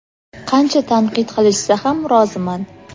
qancha tanqid qilishsa ham roziman.